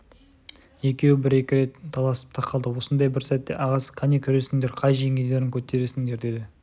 екеуі бір-екі рет таласып та қалды осындай бір сәтте ағасы қане күресіңдер қай жеңгендерің көтересіңдер деді